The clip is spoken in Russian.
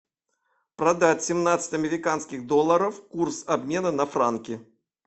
продать семнадцать американских долларов курс обмена на франки